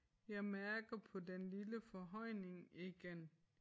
Jeg mærker på den lille forhøjning igen